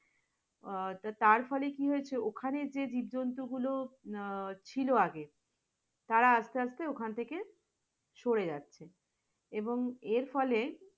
আহ তারপরে কি হয়েছে ওখানে যে জীবজন্তু আহ গুলো ছিল আগে তারা আস্তে আস্তে ওখান থেকে সরে যাচ্ছে, এবং এরফলে